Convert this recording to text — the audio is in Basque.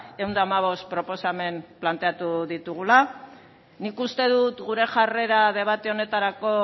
ehun eta hamabost proposamen planteatu ditugula nik uste dut gure jarrera debate honetarako